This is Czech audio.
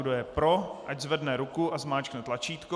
Kdo je pro, ať zvedne ruku a zmáčkne tlačítko.